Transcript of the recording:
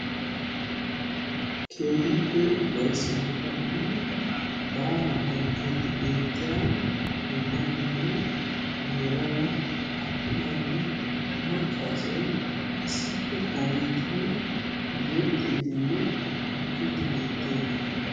Keehippe ufayssan kumiddi baalla bonchchiddi beetiya atumanne maca asay issippe qoomettiddi beettiayagetta.